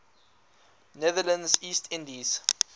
netherlands east indies